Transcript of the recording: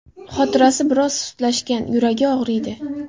Xotirasi biroz sustlashgan, yuragi og‘riydi.